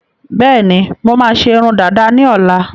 Bẹẹni, mo máa ṣe irun dàda ni ọ̀la